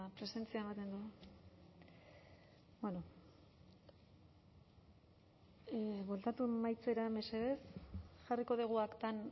presentzia ematen du bueno bueltatu emaitzera mesedez jarriko dugu aktan